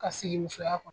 Ka sigi musoya kɔnɔ